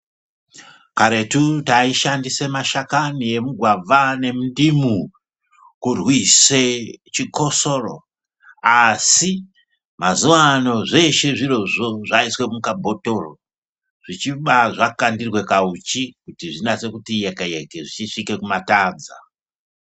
Karetu taishandise mashakani emugwavha nemundimu kurwise chikosoro. Asi mazuva ano zveshe zvirizvo zvaiswe mukabhotoro zvichiba zvakandirwe kahuchi kuti zvinase kuti yeke-yeke, zvichisvika kumatadza.